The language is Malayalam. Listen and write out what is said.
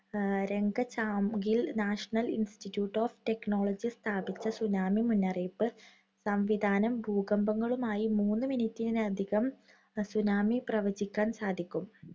രംഗചാംഗിൽ National institute of Technology സ്ഥാപിച്ച tsunami മുന്നറിയിപ്പ് സംവിധാനം ഭൂകമ്പ മൂന്ന് minute നകം tsunami പ്രവചിക്കാൻ സാധിക്കും.